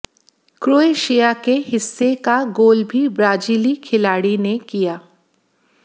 Croatia के हिस्से का गोल भी ब्राजीली खिलाड़ी ने किया